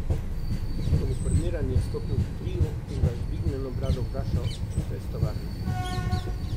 Uniformirani je stopil k Triju in ga z vzdignjeno brado vprašal, če so iz tovarne.